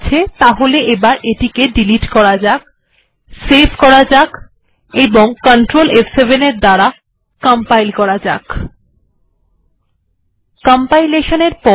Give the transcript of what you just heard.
ঠিকআছে তাহলে এবার এটি ডিলিট করা যাক সেভ করা যাক কন্ট্রোল f7এটি কম্পাইল হয়ে গেছে